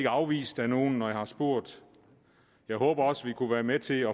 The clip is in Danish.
afvist af nogen når jeg har spurgt jeg håber også vi kan være med til at